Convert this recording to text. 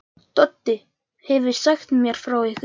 Doddi hefur sagt mér frá ykkur.